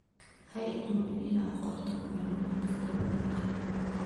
Ha iloobin inaad qorto macluumaadka dabagalka.